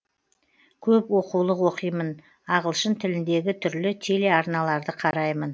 көп оқулық оқимын ағылшын тіліндегі түрлі телеарналарды қараймын